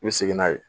I bɛ segin n'a ye